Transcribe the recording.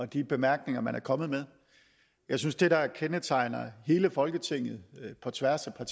de bemærkninger man er kommet med jeg synes det der kendetegner hele folketinget på tværs af